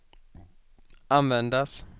användas